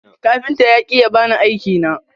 Kafinta ya ki ya bani aiki na.